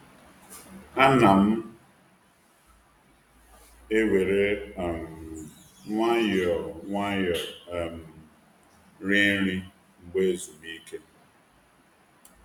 Ana m ewere um nwayọọ nwayọọ um rie nri mgbe ezumike.